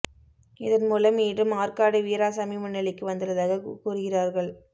இதன் மூலம் மீண்டும் ஆற்காடு வீராசாமி முன்னிலைக்கு வந்துள்ளதாக கூறுகிறார்கள்